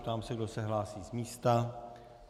Ptám se, kdo se hlásí z místa.